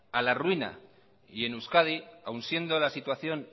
a la ruina y en euskadi aún siendo la situación